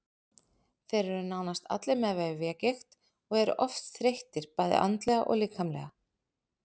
Þeir eru nánast allir með vefjagigt og eru oft þreyttir bæði andlega og líkamlega.